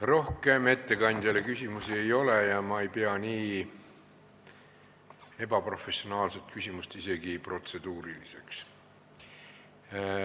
Rohkem ettekandjale küsimusi ei ole ja ma ei pea nii ebaprofessionaalset küsimust isegi mitte protseduuriliseks.